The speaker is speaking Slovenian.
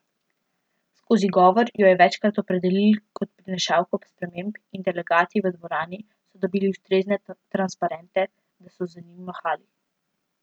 Skozi govor jo je večkrat opredelil kot prinašalko sprememb in delegati v dvorani so dobili ustrezne transparente, da so z njimi mahali.